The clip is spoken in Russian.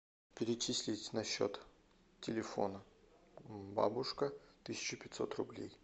перечислить на счет телефона бабушка тысяча пятьсот рублей